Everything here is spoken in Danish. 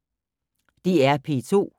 DR P2